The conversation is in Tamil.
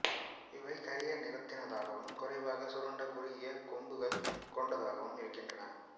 இவை கரிய நிறத்தினதாகவும் குறைவாக சுருண்ட குறுகிய கொம்புகள் கொண்டதாகவும் இருக்கின்றன